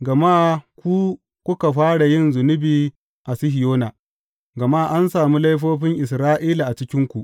Gama ku kuka fara yin zunubi a Sihiyona, gama an sami laifofin Isra’ila a cikinku.